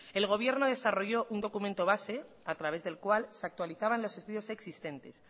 el gobierno desarrolló un documento base a través del cual se actualizaban los estudios existentes